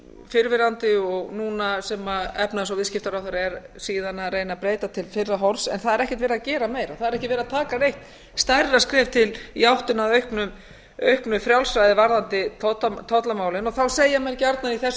fyrrverandi og núna sem efnahags og viðskiptaráðherra er síðan að reyna að breyta til fyrra horfs en það er ekkert verið að gera meira það er ekki verið að taka neitt stærra skref í áttina að auknu frjálsræði varðandi tollamálin þá segja menn gjarnan í þessu